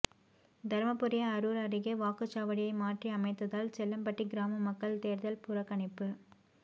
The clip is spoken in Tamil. தருமபுரி அரூர் அருகே வாக்குச் சாவடியை மாற்றி அமைத்ததால் செல்லம்பட்டி கிராம மக்கள் தேர்தல் புறக்கணிப்பு